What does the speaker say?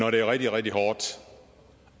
når det er rigtig rigtig hårdt